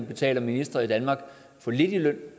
betaler ministre i danmark for lidt i løn